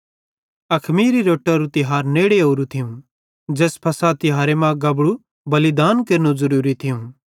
अखमीरी रोट्टरू तिहार नेड़े ओरू थियूं ज़ैस फ़सह तिहारे मां गबड़ेरू बलिदान देनू ज़रूरी थियूं